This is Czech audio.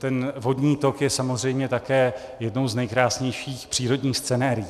Ten vodní tok je samozřejmě také jednou z nejkrásnějších přírodních scenérií.